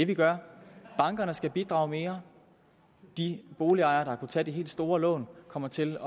vi gør bankerne skal bidrage mere de boligejere der har tage de helt store lån kommer til